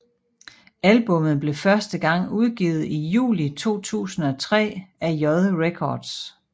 Albummet blev første gang udgivet i juli 2003 af J Records